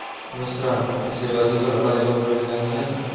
વસ્ત્રાલ પછી આબાજુ તો રબારી કોલોની નામ છે ને.